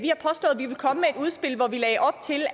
udspil hvor vi lagde op til